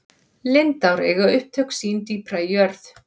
lindár eiga upptök sín dýpra í jörð